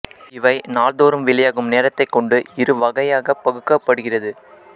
இவை நாள்தோறும் வெளியாகும் நேரத்தைக் கொண்டு இரு வகையாகப் பகுக்கப்படுகிறது